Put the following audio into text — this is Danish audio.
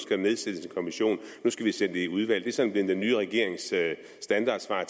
der nedsættes en kommission og nu skal det sendes i udvalg som er blevet den nye regerings standardsvar